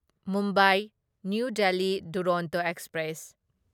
Mumbai new Delhi Duronto express